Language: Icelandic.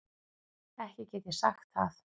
Ekki get ég sagt það.